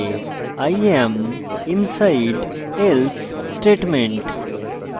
i am inside else statement